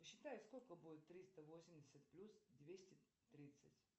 посчитай сколько будет триста восемьдесят плюс двести тридцать